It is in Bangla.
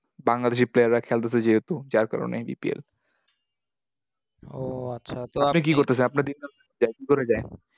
বাংলাদেশি player রা খেলতেছে যেহেতু। যার কারণে BPL ও আচ্ছা, তো আপনি কি করতেছেন?